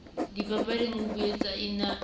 dipapading e boetsa e na